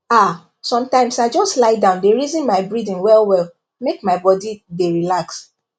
ah sometimes i just lie down dey reason my breathing wellwell make my body dey relax